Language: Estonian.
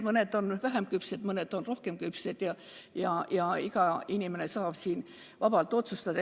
Mõned on vähem küpsed, mõned on rohkem küpsed, aga iga inimene saab vabalt otsustada.